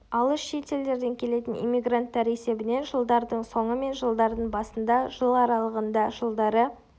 алыс шет елдерден келетін иммигранттар есебінен жылдардың соңы мен жылдардың басында жыл аралығында жылдары